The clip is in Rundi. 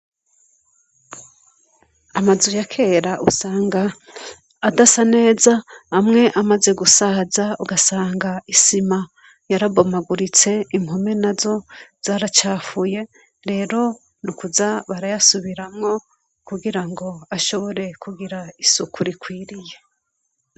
Amazu ya kera usanga adasa neza, amwe amaze gusaza ugasanga isima yarabomaguritse impome nazo zaracafuye. Rero nukuza barayasubiramwo kugirango ashobore kugira isuku rikwiriye.